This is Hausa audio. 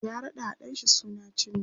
ya raɗawa ɗan shi suna cindo